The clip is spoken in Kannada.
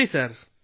ಸರಿ ಸರ್